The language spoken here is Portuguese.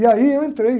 E aí eu entrei.